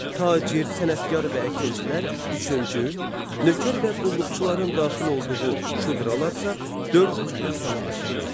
Tacir, sənətkar və əkinçilər üçüncü, nökər və qulluqçuların daxil olduğu şudralarsa dördüncü kastanı təşkil eləyirdi.